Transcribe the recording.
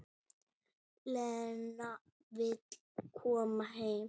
Lena vill koma heim.